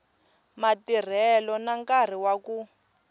matirhelo na nkarhi wa ku